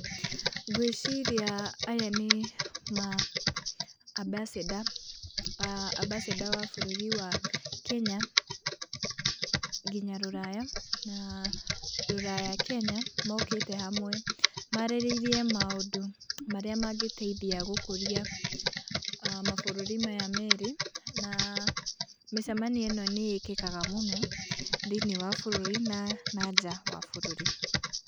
Ngwĩciria aya nĩ maa abasĩnda, abasĩnda a bũrũri wa Kenya nginya rũraya na rũraya Kenya mokĩte hamwe. Marĩrĩrie maũndũ marĩa mangĩteithia gũkũria mabũrũri maya merĩ, na mĩcemanio ĩno nĩ ĩkĩkaga mũno thĩinĩĩ wa bũrũri na na nja wa bũrũri.